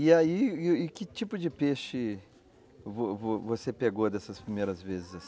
E aí, que tipo de peixe vo vo você pegou dessas primeiras vezes assim?